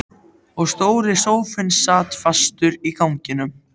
Og stóri sófinn sat fastur í ganginum!!